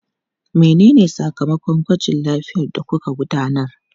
Menene sakamakon gwajin lafiyar da kuka gudanar?